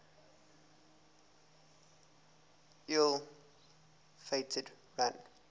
ill fated run